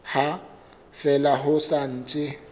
ha fela ho sa ntse